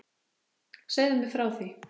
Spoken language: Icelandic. Segðu mér frá því?